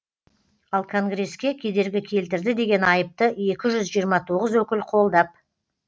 ал конгресске кедергі келтірді деген айыпты екі жүз жиырма тоғыз өкіл қолдап